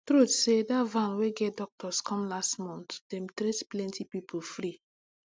true say dat van wey get doctors come last month dem treat plenty people free